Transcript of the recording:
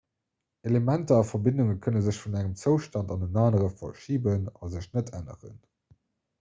elementer a verbindunge kënne sech vun engem zoustand an en anere verschiben a sech net änneren